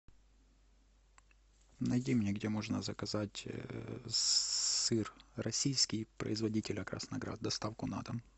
найди мне где можно заказать сыр российский производителя красноград доставку на дом